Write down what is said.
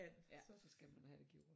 Ja så skal man have det gjort